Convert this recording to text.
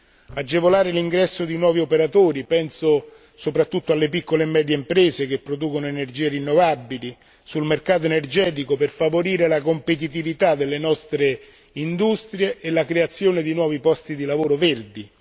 così come agevolare l'ingresso di nuovi operatori penso soprattutto alle piccole e medie imprese che producono energie rinnovabili sul mercato energetico per favorire la competitività delle nostre industrie e la creazione di nuovi posti di lavoro verdi.